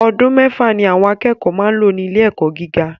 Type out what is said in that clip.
Ọdún mẹ́fà ni àwọn akẹ́kọ̀ọ́ máa ń lò ní ilé ẹ̀kọ́ gíga